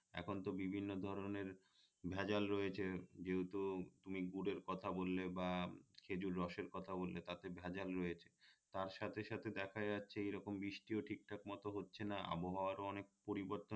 এখনতো বিভিন্ন ধরনের ভেজাল রয়েছে যেহেতু কথা বললে বা খেজুর রসের কথা উল্লেখ আছে ভেজাল রয়েছে তার সাথে সাথে দেখা যাচ্ছে এই রকম বৃষ্টিও ঠিকঠাক মত হচ্ছে না আবহাওয়ার অনেক পরিবর্তন